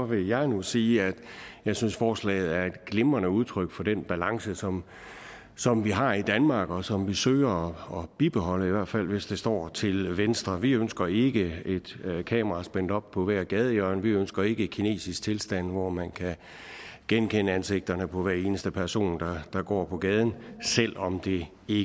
vil jeg nu sige at jeg synes at forslaget er et glimrende udtryk for den balance som som vi har i danmark og som vi søger at bibeholde i hvert fald hvis det står til venstre vi ønsker ikke et kamera spændt op på hvert gadehjørne vi ønsker ikke kinesiske tilstande hvor man kan genkende ansigterne på hver eneste person der går på gaden selv om det i